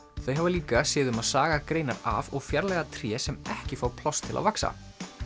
þau hafa líka séð um að saga greinar af og fjarlægja tré sem ekki fá pláss til að vaxa